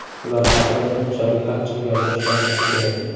ular haqida bunchalik achchiq gapirish yaramasa kerak.